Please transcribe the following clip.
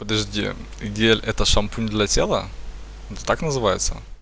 подожди где это шампунь для тела так называется